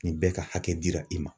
Ni bɛɛ ka hakɛ dira i ma